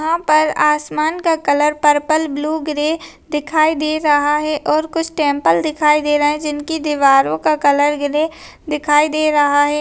यहां पर आसमान का कलर पर्पल ब्लू ग्रे दिखाई दे रहा है और कुछ टेम्पल दिखाई दे रहे है जिनकी दीवारों का कलर ग्रे दिखाई दे रहा हैं।